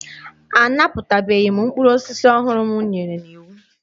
A napụtabeghị mkpụrụ osisi ọhụrụ m nyere n'iwu.